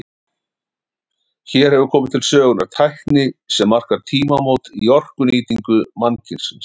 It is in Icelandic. Hér hefur komið til sögunnar tækni sem markar tímamót í orkunýtingu mannkynsins.